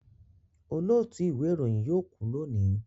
Olóòtú ìwé ìròyìn yóò kú lónìí